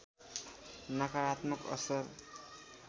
नकारात्मक असर